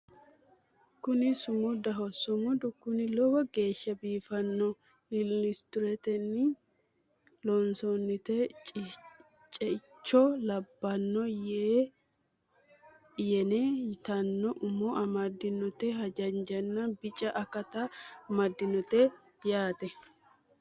kuni sumudaho sumudu kuni lowo geeshsha biifannoho illustiretetenni loonsoonnite ceicho labbanno eya yene yitanno umo amaddinote haanjanna bica akata amaddinote yaate